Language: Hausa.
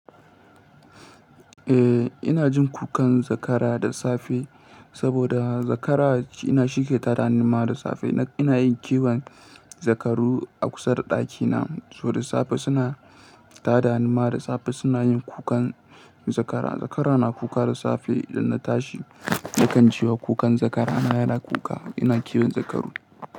Eh, ina jin kukan zakara da safe saboda zakara ina shi ke tada ni ma da safe. Ina yin kiwon zakaru a kusa da ɗakina. To da safe suna tada ni ma da safe suna yin kukan zakara. Zakara na kuka da safe idan na tashi. Nakan cewa kukan zakara na yana kuka. Ina kiwon zakaru.